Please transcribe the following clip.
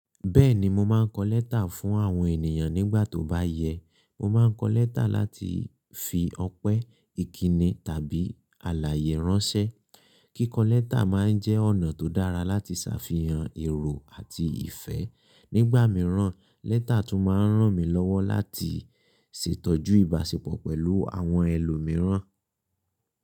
Beeni mo maa n ko leta fun awon eniyan nigba to ba ye. Mo máa ń kọ lẹ́tà láti fi ọpẹ́, ìkíni tàbí àlàyé ránṣẹ́. Kíkọ lẹ́tà máa ń jẹ́ ọ̀nà tó dára láti ṣàfihàn èrò àti ìfẹ́. Nígbà mìíràn, lẹ́tà tún máa ń ràn mí lọ́wọ́ láti ṣètọ́jú ìbáṣepọ̀ pẹ̀lú àwọn ẹlòmíràn.